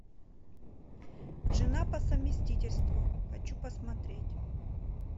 жена по совместительству хочу посмотреть